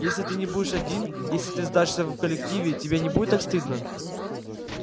если ты не будешь один если ты сдашься в коллективе тебе не будет так стыдно